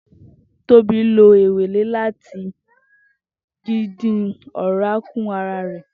Tobi lo ewele lati dìdìn ọ̀rá kù ara rẹ.